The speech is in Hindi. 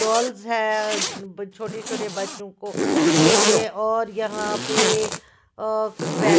डॉल्स हैं अ छोटे छोटे बच्चों को के लिए और यहाँ पे अ कुछ बै--